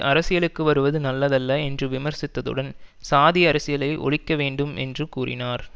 அரசியலுக்கு வருவது நல்லதல்ல என்று விமர்சித்ததுடன் சாதி அரசியலை ஒழிக்க வேண்டும் என்றும் கூறினார்